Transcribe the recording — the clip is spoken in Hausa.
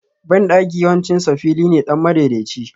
Banɗaki yawancin sa fili ne dan madaidaici